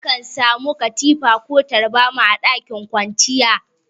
Akan samu katifa ko taburma a ɗakin kwanciya.